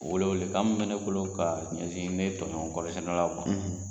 Wele wele kan min bɛ ne bolo k'a ɲɛnsin ne tɔɲɔgɔn kɔɔri sɛnɛlaw man